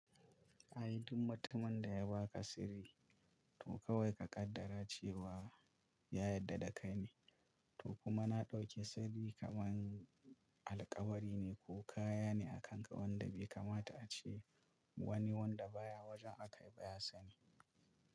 Ai duk mutumin da ya ba ka sirri, to kawai ka kaddara cewa ya yarda da kai ne. To kuma na ɗauke sirri kamar alkawari ne ko kaya ne a kan ka wanda bai kamata a ce wani wanda baya wajen aka yi ba ya sani.